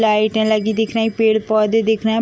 लाइटें लगी दिख रही पेड़ पौधे लगे दिख रहे हैं ।